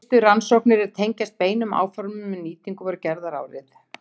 Fyrstu rannsóknir er tengjast beinum áformum um nýtingu voru gerðar árið